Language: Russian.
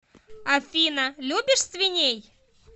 афина любишь свиней